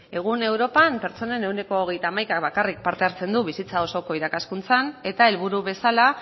egun europan pertsonen ehuneko hogeita hamaikaak bakarrik parte hartzen du bizitza osoko irakaskuntzan eta helburu bezala